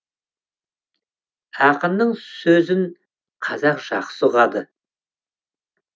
ақынның сөзін қазақ жақсы ұғады